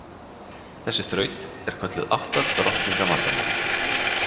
Þessi þraut er kölluð átta drottninga vandamálið.